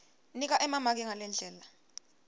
nika emamaki ngalendlela